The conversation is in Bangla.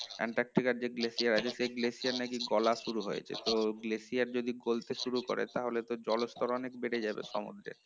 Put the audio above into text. এন্টারটিকার যে glacier আছে সেই glacier নাকি গলা শুরু হয়েছে তো glacier যদি গলতে শুরু করে তাহলে তো জলস্তর অনেক বেড়ে যাবে সমুদ্রের